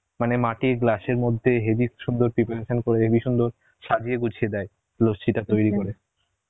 মানে মাটির glass এর মধ্যে হেবি সুন্দর preparation করে হেবি সুন্দর সাজিয়ে গুছিয়ে দেয় লস্যি টা তৈরী